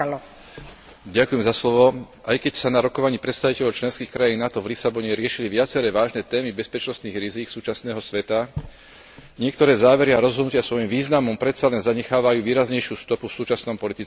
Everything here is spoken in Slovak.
Aj keď sa na rokovaní predstaviteľov členských krajín NATO v Lisabone riešili viaceré vážne témy bezpečnostných rizík súčasného sveta, niektoré závery a rozhodnutia svojím významom predsa len zanechávajú výraznejšiu stopu v súčasnom politickom svete.